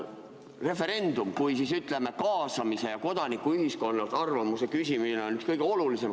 Referendum kui kaasamine ja kodanikuühiskonnalt arvamuse küsimine on üks kõige olulisemaid võimalusi.